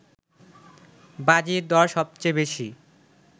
বাজির দর সবচেয়ে বেশি